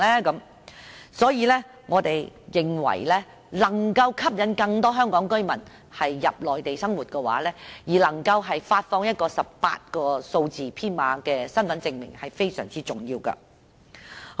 因此，我們認為要吸引更多香港居民到內地生活，能夠發放一個18位數字編碼的身份證明是非常重要的。